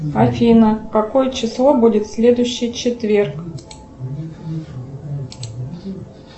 афина какое число будет следующий четверг